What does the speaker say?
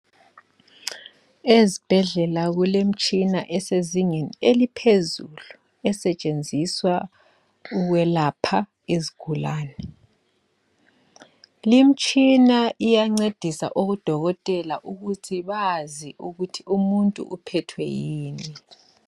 ezibhedlela kulemtshina esezingeni eliphezulu esetshenziswa ukwelapha izigulane limtshina iyancedisa odokotela ukuthi bazi ukuthi umuntu uphethwe yini